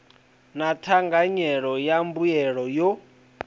na thanganyelo ya mbuelo yo